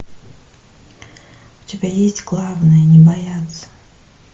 у тебя есть главное не бояться